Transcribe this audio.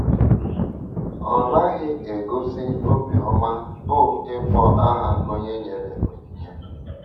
Ọ naghị egosi obiọma bụ́ ịkpọ aha onye nyere onyinye.